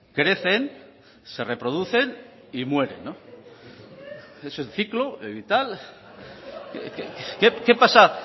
crecen se reproducen y mueren no es el ciclo vital qué pasa